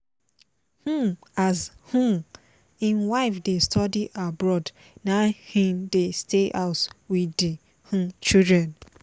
um as um im wife dey study abroad na im dey stay house with the um children